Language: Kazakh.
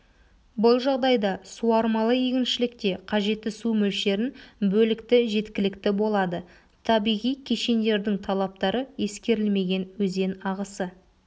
бұл жағдайда суармалы егіншілікте қажетті су мөлшерін бөлікті жеткілікті болады табиғи кешендердің талаптары ескерілмеген өзен ағысы